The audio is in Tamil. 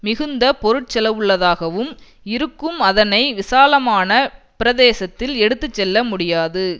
மிகுந்த பொருட் செலவுள்ளதாக இருக்கும் அதனை விசாலமான பிரதேசத்தில் எடுத்து செல்ல முடியாது